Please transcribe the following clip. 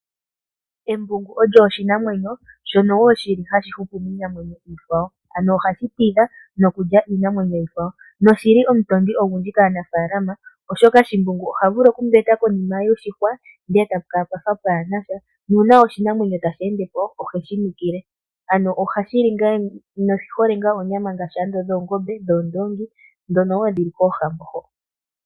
Embungu olyo oshinamwenyo shono wo shili hashi hupu miinamwenyo iikwawo. Ano ohashi tidha nokulya iinamwenyo iikwawo noshili omutondi ogundji kaanafaalama oshoka shimbungu oha vulu oku mbeta konima yoshihwa ndele etatu kala pwafa pwaana sha nuuna oshinamwenyo tashi endepo oheshi nukile. Ano ohashi li oonyama ngaashi oonyama dhoongombe, dhoondoongi ndhono wo dhi li koohambo ho.